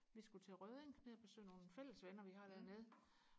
vi skulle til Røding ned og besøge nogle fællesvenner vi har dernede